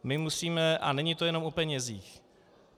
My musíme - a není to jenom o penězích.